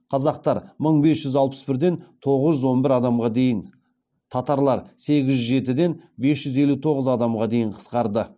қазақтар мың бес жүз алпыс бірден тоғыз жүз он бір адамға дейін татарлар сегіз жүз жетіден бес жүз елу тоғыз адамға дейін қысқарды